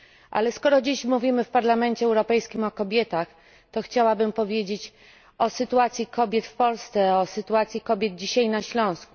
Ale skoro dziś mówimy w Parlamencie Europejskim o kobietach, to chciałabym powiedzieć o sytuacji kobiet w Polsce, o sytuacji kobiet dzisiaj na Śląsku.